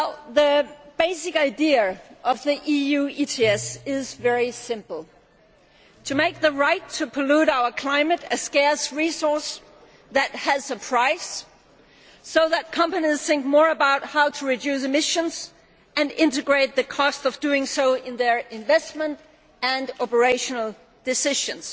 The basic idea of the EU ETS is very simple to make the right to pollute our climate a scarce resource that has a price, so that companies think more about how to reduce emissions and integrate the cost of doing so into their investment and operational decisions.